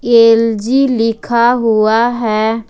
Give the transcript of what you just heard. LG लिखा हुआ है।